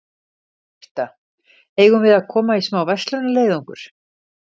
Birta: Eigum við að koma í smá verslunarleiðangur?